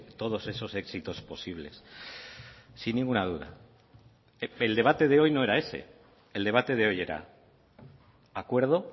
todos esos éxitos posibles sin ninguna duda el debate de hoy no era ese el debate de hoy era acuerdo